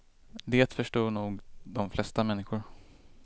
Det förstår nog de flesta människor.